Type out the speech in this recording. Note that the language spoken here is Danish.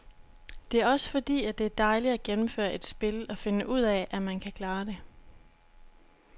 Det er også fordi, det er dejligt at gennemføre et spil og finde ud af, at man kan klare det.